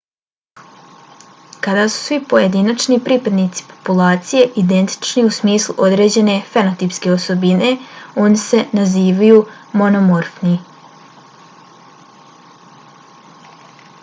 kada su svi pojedinačni pripadnici populacije identični u smislu određene fenotipske osobine oni se nazivaju monomorfni